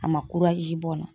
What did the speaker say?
A ma bɔn